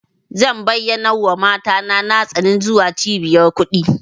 Zan bayyanawa mata na tsani zuwa cibiyar kuɗi.